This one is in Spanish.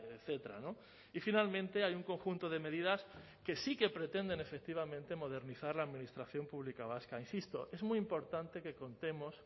etcétera y finalmente hay un conjunto de medidas que sí que pretenden efectivamente modernizar la administración pública vasca insisto es muy importante que contemos